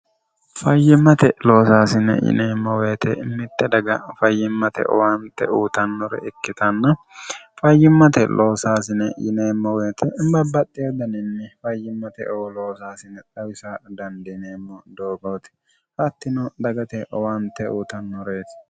fayyimmate loosaasine yineemmo woyete mitte daga fayyimmate owaante uutannore ikkitanna fayyimmate loosaasine yineemmo woyite imabbaxxeeddaninni fayyimmate oo loosaasine dhawisa dandiineemmo doogooti hattino dagate owaante uutannoreeti